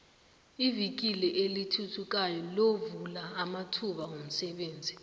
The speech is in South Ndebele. ivikili elithuthukayo lovula amathuba womsebenzi